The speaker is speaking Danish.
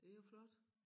Det jo flot